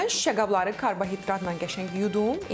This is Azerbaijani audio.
Mən şüşə qabları karbohidratla qəşəng yudum.